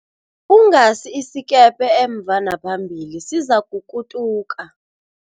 Ungasi isikepe emva naphambili sizakukutuka.